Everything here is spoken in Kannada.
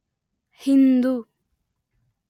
ಹಿಂದೂ